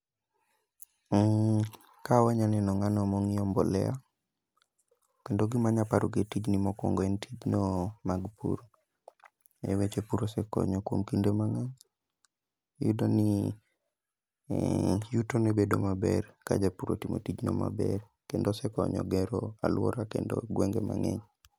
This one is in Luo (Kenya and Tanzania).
Ka wanya neno ng'ano mong'iewo mbolea, kendo gima anya paro gi e tijni en tijno mag pur. Weche pur ose konyo kuom kinde mang'eny. Iyudo ni yuto ne bedo maber, ka japur otimo tijno maber, kendo osekonyo gero alwora kendo gwenge mang'eny.